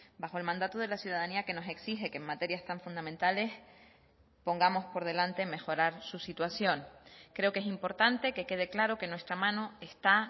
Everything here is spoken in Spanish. bajo el mandato de la ciudadanía que nos exige que en materias tan fundamentales pongamos por delante mejorar su situación creo que es importante que quede claro que nuestra mano está